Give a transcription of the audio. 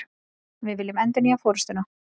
Við viljum endurnýja forustuna